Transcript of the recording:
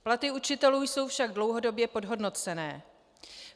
Platy učitelů jsou však dlouhodobě podhodnocené.